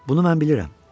Bunu mən bilirəm.